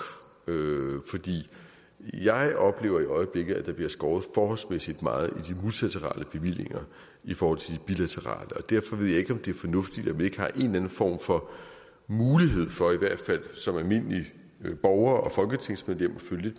jeg oplever i øjeblikket at der bliver skåret forholdsmæssigt meget i de multilaterale bevillinger i forhold til de bilaterale derfor ved jeg ikke om det er fornuftigt at vi ikke har en eller anden form for mulighed for i hvert fald som almindelige borgere og folketingsmedlemmer at følge